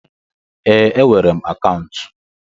Ee, enwere m akaụntụ.